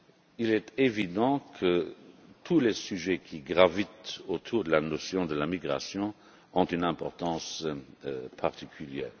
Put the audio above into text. Il est évident que tous les sujets qui gravitent autour de l'immigration ont une importance particulière.